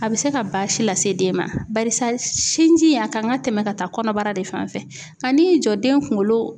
A bɛ se ka baasi lase den ma barisa sinji a kan ka tɛmɛn ka taa kɔnɔbara de fan fɛ nka n'i y'i jɔ den kungolo